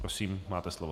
Prosím, máte slovo.